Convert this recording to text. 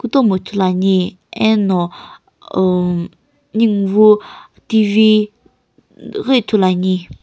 tomo ithuluani eno uhm ninguwu T_V ghi ithuluani.